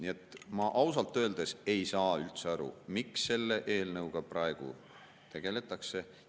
Nii et ma ausalt öeldes ei saa üldse aru, miks selle eelnõuga praegu tegeldakse.